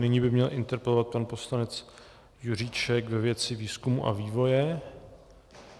Nyní by měl interpelovat pan poslanec Juříček ve věci výzkumu a vývoje.